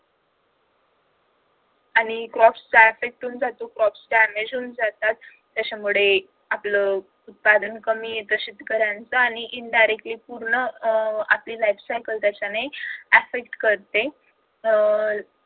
आणि जातो crops damage होऊन जातात त्याच्यामुळे आपलं उत्पादन कमी येतं शेतकऱ्यांचा आणि indirectly पूर्ण अह आपली life circle पण त्याच्यामुळे effect करते अह